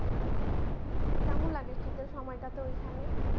কেমন লাগে শীতের সময়টা তে ওখানে?